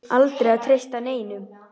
Aldrei að treysta neinum.